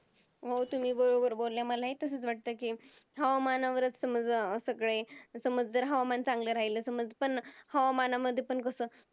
हो तुम्ही बरोबर बोलल्या मलाही तसच वाटतंय कि हवामानावरच समज सगळे समज जर हवामान चांगलं राहील समज पण हवामानामध्ये पण कस